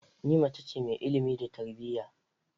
Ni mace ce mai ilimi da tarbiyya